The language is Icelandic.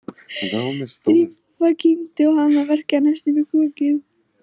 Drífa kyngdi og hana verkjaði næstum í kokið.